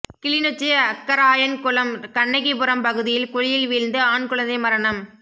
கிளிநொச்சி அக்கராயன்குளம் கண்ணகிபுரம் பகுதியில் குழியில் வீழ்ந்து ஆண் குழந்தை மரணம்